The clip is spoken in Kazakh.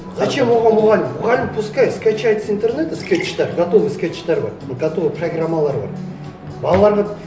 зачем оған мұғалім мұғалім пускай скачает с интернета скетчтер готовый скетчтер бар готовый программалар бар балаларға